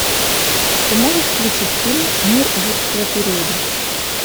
ты можешь включить фильм мир юрского периода